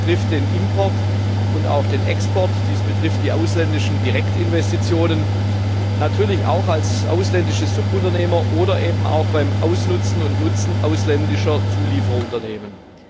Dies betrifft den Import und auch den Export, dies betrifft die ausländischen Direktinvestitionen, natürlich auch als ausländische Subunternehmer oder bei der Nutzung ausländischer Zulieferunternehmen.